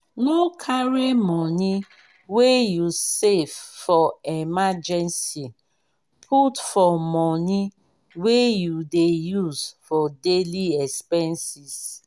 no carry money wey you safe for emergency put for money wey you dey use for daily expenses